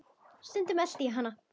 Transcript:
Stundum elti ég hana.